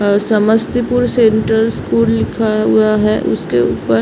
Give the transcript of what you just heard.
अ Samastipur central school लिखा हुवा है उसके ऊपर।